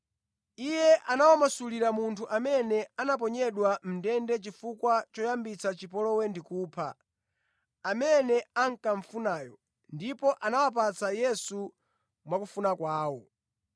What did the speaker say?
Iye anawamasulira munthu amene anaponyedwa mʼndende chifukwa choyambitsa chipolowe ndi kupha, amene ankamufunayo, ndipo anawapatsa Yesu mwakufuna kwawo.